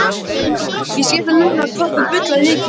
Ég sé það núna hvað þú bullaðir mikið.